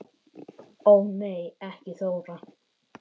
Ó nei ekki Þóra